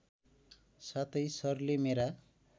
साथै सरले मेरा